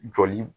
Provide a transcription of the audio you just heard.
Joli